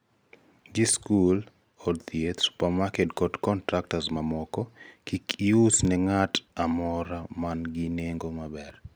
gi skul, od thieth, supermarket kod contractor mamoko: kik ius ne ng'at moro man gi neng'o maber